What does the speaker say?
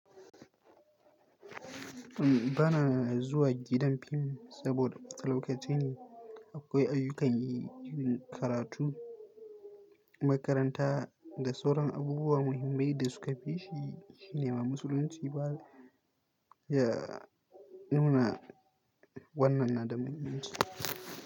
Ba na zuwa gidan fim saboda bata lokaci ne. Akwai ayyukan yi, irin karatu, makaranta da sauran abubuwa muhimmai da suka fi shi. Shi ne ma musulunci ba ya nuna wannan na da muhimmanci.